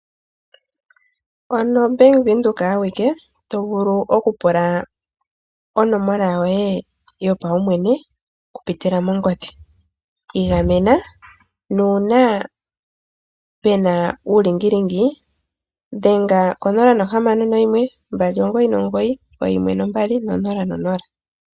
Mpano o Bank Windhoek awike to vulu oku pula onomola yoye yopaumwene oku pitila mongodhi, igamena nuuna pena uulingilingi dhenga ko 0612991200.